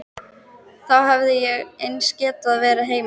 Þá hefði ég eins getað verið heima.